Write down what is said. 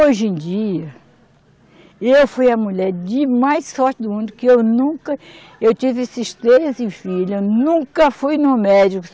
Hoje em dia, eu fui a mulher de mais sorte do mundo, que eu nunca, eu tive esses três filhos, eu nunca fui no médico.